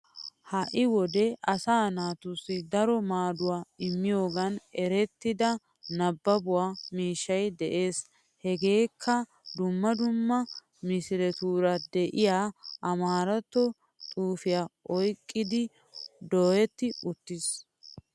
Hai wode asaa naatusi daro maadduwaa immiyoogan eerettida naabbabbo miishshay de7ees. Hegeekaa duummaa duummaa miisileturaa de7iya amaaratto xufiya oyqqidi dooyeti uttis